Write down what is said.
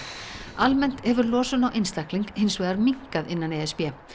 almennt hefur losun á einstakling hins vegar minnkað innan e s b